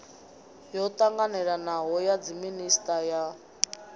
yo ṱanganelanaho ya dziminisiṱa ya